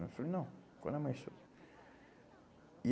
Eu falei, não, quando amanhecer. E